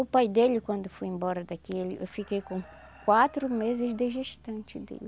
O pai dele, quando foi embora daqui, eu fiquei com quatro meses de gestante dele.